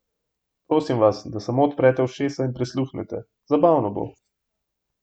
Prosimo vas, da samo odprete ušesa in prisluhnete, zabavno bo!